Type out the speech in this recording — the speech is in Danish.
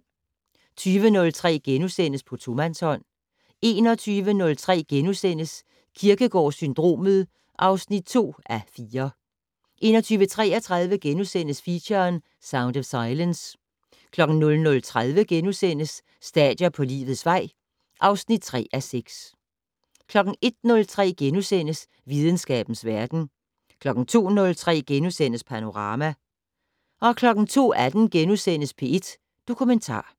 20:03: På tomandshånd * 21:03: Kierkegaard-syndromet (2:4)* 21:33: Feature: Sound of silence * 00:30: Stadier på livets vej (3:6)* 01:03: Videnskabens verden * 02:03: Panorama * 02:18: P1 Dokumentar *